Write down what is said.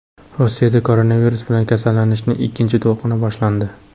Rossiyada koronavirus bilan kasallanishning ikkinchi to‘lqini boshlandi.